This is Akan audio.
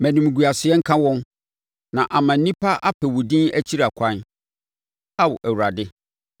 Ma animguaseɛ nka wɔn, na ama nnipa apɛ wo din akyiri ɛkwan, Ao Awurade.